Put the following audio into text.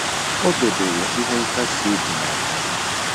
O debere ihe nkasi obi n'akpa ya